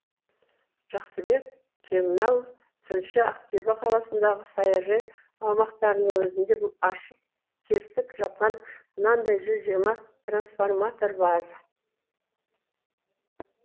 жақсыбек кемал тілші ақтөбе қаласындағы саяжай аумақтарының өзінде ашық тесік жатқан мынандай жүз жиырма трансформатор бар